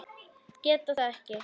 Geta það ekki.